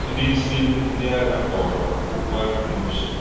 Ndị isi ndị agha kpọrọ okwu ahụ n’uche.